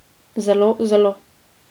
Zelo, zelo.